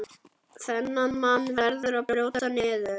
Þennan mann verður að brjóta niður.